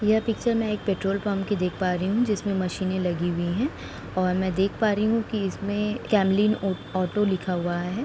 यह पिक्चर मैं एक पेट्रोल पंप की देख पा रही हूं जिसमें मशीनें लगी हुई हैं और मैं देख पा रही हूं कि इसमें कैमलीन उ ऑटो लिखा हुआ है।